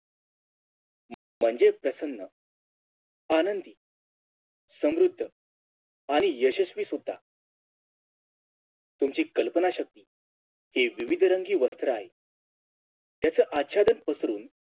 म्हणजेच प्रसन्न आनंदी समृद्ध आणि यशस्वी सुद्धा तुमची कल्पना शक्ती हे विविधरंगी वस्त्र आहे त्याच आचरण पसरून